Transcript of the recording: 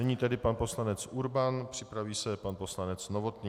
Nyní tedy pan poslanec Urban, připraví se pan poslanec Novotný.